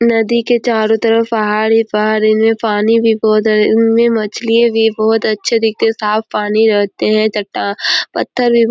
नदी के चारो तरफ पहाड़ ही पहाड़ इनमें पानी भी बहोत है इनमें मछली भी बहुत अच्छे दिखते साफ़ पानी रहते है तथा पत्थर--